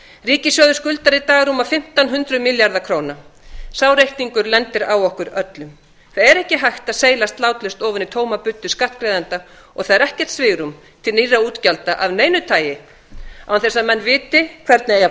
ríkissjóður skuldar í dag rúma fimmtán hundruð milljarða króna sá reikningur lendir á okkur öllum það er ekki hægt að seilast látlaust ofan í tóma buddu skattgreiðenda og það er ekkert svigrúm til nýrra útgjalda af neinu tagi án þess að menn viti hvernig eigi að